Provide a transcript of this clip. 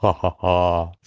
ха-ха-ха